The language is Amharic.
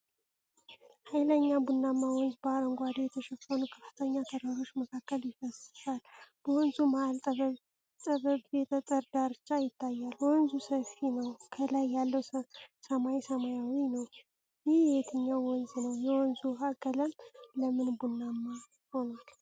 ኃይለኛ ቡናማ ወንዝ በአረንጓዴ በተሸፈኑ ከፍተኛ ተራሮች መካከል ይፈስሳል። በወንዙ መሃል ጠባብ የጠጠር ዳርቻ ይታያል። ወንዙ ሰፊ ነው፤ ከላይ ያለው ሰማይ ሰማያዊ ነው። ይህ የትኛው ወንዝ ነው? የወንዙ ውሃ ቀለም ለምን ቡናማ ሆኗል?